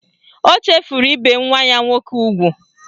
O chefuru ibe nwa ya nwoke ugwu